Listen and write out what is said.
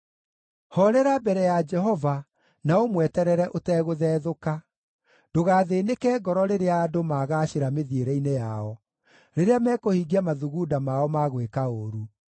Hoorera mbere ya Jehova na ũmweterere ũtegũthethũka; ndũgathĩĩnĩke ngoro rĩrĩa andũ magaacĩra mĩthiĩre-inĩ yao, rĩrĩa mekũhingia mathugunda mao ma gwĩka ũũru.